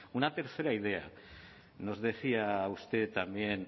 una tercera idea nos decía usted también